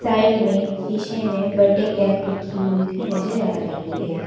Side में शीशे में बर्थडे कैप रखी हुई भी नजर आ रही हैं।